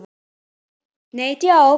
Nei, djók.